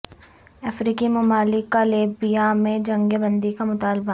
افریقی ممالک کا لیبیا میں جنگ بندی کا مطالبہ